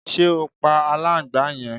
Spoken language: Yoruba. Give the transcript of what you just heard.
Ṣe o pa aláǹgbàá yẹn?